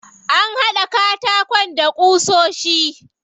An haɗa katakon da ƙusoshi.